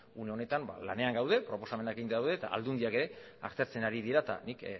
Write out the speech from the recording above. une honetan lanean gaude proposamenekin daude eta aldundiak ere aztertzen ari dira eta nik